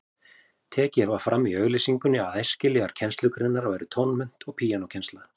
Tekið var fram í auglýsingunni að æskilegar kennslugreinar væru tónmennt og píanókennsla.